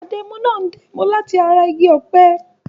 Adẹ́mu náà ń dá ẹmu láti ara igi ọ̀pẹ.